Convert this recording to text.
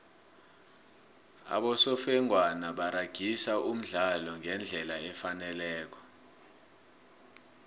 abosofengwana baragisa umdlalo ngendlela efaneleko